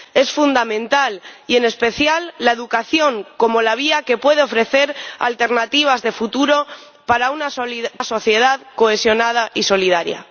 y, en especial, la educación, como la vía que puede ofrecer alternativas de futuro para una sociedad cohesionada y solidaria.